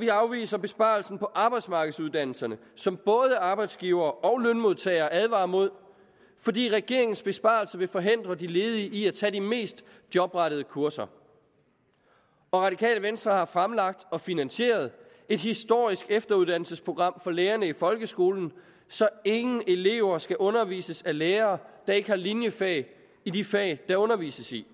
vi afviser besparelserne på arbejdsmarkedsuddannelserne som både arbejdsgivere og lønmodtagere advarer imod fordi regeringens besparelser vil forhindre de ledige i at tage de mest jobrettede kurser radikale venstre har fremlagt og finansieret et historisk efteruddannelsesprogram for lærerne i folkeskolen så ingen elever skal undervises af lærere der ikke har linjefag i de fag der undervises i